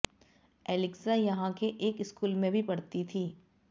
एलिक्जा यहां के एक स्कूल में भी पढ़ती थी